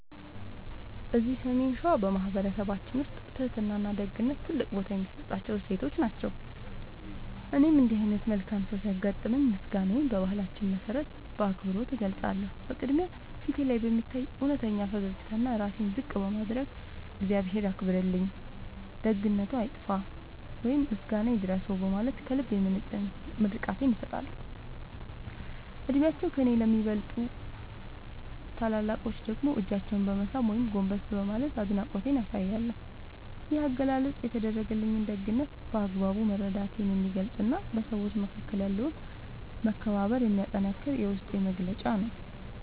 እዚህ ሰሜን ሸዋ በማኅበረሰባችን ውስጥ ትሕትናና ደግነት ትልቅ ቦታ የሚሰጣቸው እሴቶች ናቸው። እኔም እንዲህ ዓይነት መልካም ሰው ሲያጋጥመኝ ምስጋናዬን በባህላችን መሠረት በአክብሮት እገልጻለሁ። በቅድሚያ፣ ፊቴ ላይ በሚታይ እውነተኛ ፈገግታና ራሴን ዝቅ በማድረግ "እግዚአብሔር ያክብርልኝ፣ ደግነትዎ አይጥፋ" ወይም "ምስጋና ይድረስዎ" በማለት ከልብ የመነጨ ምርቃቴን እሰጣለሁ። ዕድሜያቸው ከእኔ ለሚበልጡ ታላላቆች ደግሞ እጃቸውን በመሳም ወይም ጎንበስ በማለት አድናቆቴን አሳያለሁ። ይህ አገላለጽ የተደረገልኝን ደግነት በአግባቡ መረዳቴን የሚገልጽና በሰዎች መካከል ያለውን መከባበር የሚያጠነክር የውስጤ መግለጫ ነው።